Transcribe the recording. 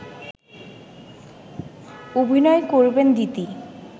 অভিনয় করবেন দিতি